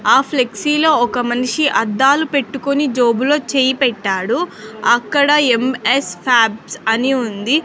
ఆ ఫ్లెక్సీలో ఒక మనిషి అద్దాలు పెట్టుకొని జోబులో చేయి పెట్టాడు అక్కడ ఎం_యస్ ఫ్యాబ్స్ అని ఉంది.